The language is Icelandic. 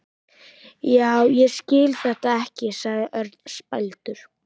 Já, ég skil þetta ekki sagði Örn spældur.